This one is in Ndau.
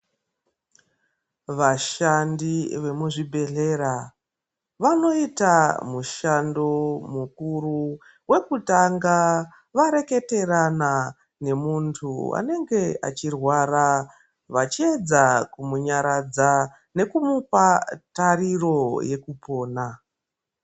Vashandi vemuzvibhehlera vanoita mushando mukuru wekunga vareketerana wemunthu anenge achirwara vachiedza kumunyaradza nekumupa tariro yekupona.